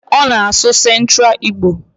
Ona asu centra Igbo?